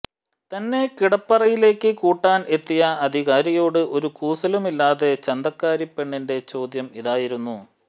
തന്നെ കിടപ്പറയിലേക്ക് കൂട്ടാന് എത്തിയ അധികാരിയോട് ഒരു കൂസലുമില്ലാതെ ചന്തക്കാരിപെണ്ണിന്റെ ചോദ്യം ഇതായിരുന്നു